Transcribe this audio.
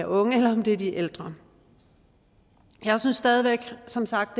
unge eller de de ældre jeg synes stadig væk som sagt